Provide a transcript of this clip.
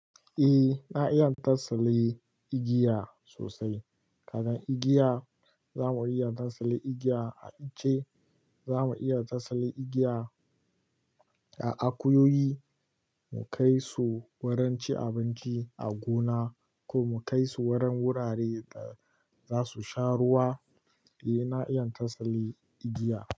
Eh, na iya fasali igiya sosai. Kaga igiya, za mu iya tasali igiya a ice, za mu iya tasali igiya a akuyoyi, mu kai su wurin ci abinci a gona ko mu kai su wurin wurare da za su sha ruwa. En na, iya tasali igiya.